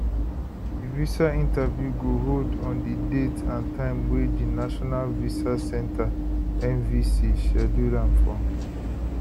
di visa interview go hold on di date and time wey di national visa center nvc schedule am for